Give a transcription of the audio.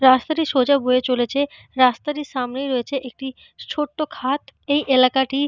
রাস্তাটি সোজা বয়ে চলেছে। রাস্তাটির সামনে রয়েছে একটি ছোট্ট খাদ। এই এলাকাটি